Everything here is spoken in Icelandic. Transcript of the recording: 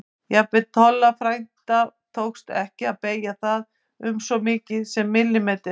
Jafnvel Tolla frænda tókst ekki að beygja það um svo mikið sem millimeter.